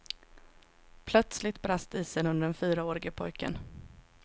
Plötsligt brast isen under den fyraårige pojken.